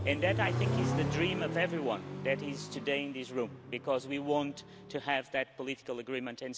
That, I think, is the dream of everyone that is today in this room because we want to have that political agreement.